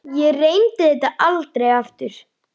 Ég reyndi þetta aldrei aftur.